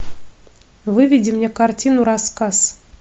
выведи мне картину рассказ